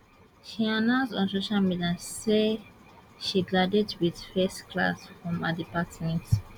she announce on social media say she graduate wit first class from her department